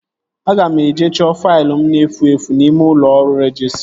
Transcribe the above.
Aga m eje chọọ faịlụ m na-efu efu n'ime ụlọ ọrụ rejistra